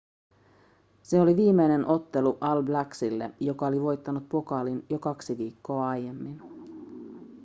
se oli viimeinen ottelu all blacksille joka oli voittanut pokaalin jo kaksi viikkoa aiemmin